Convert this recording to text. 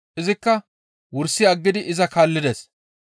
Izikka wursi aggidi iza kaallides.